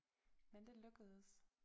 Men det lykkedes